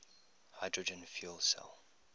hydrogen fuel cell